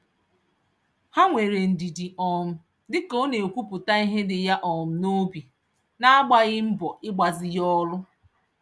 Ha nwere ndidi um dịka ọna-ekwupụta ihe dị ya um nobi, nagbaghị mbọ igbazi ya olu.